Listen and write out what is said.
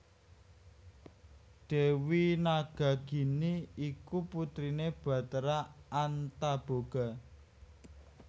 Dewi Nagagini iku putrine Bathara Antaboga